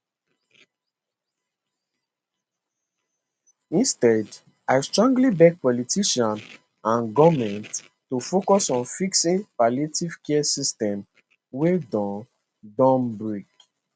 instead i strongly beg politicians and goment to focus on fixing palliative care system wey don don break